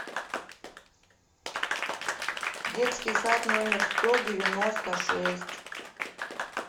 детский сад номер сто девяносто шесть